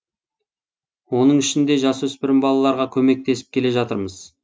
оның ішінде жасөспірім балаларға көмектесіп келе жатырмыз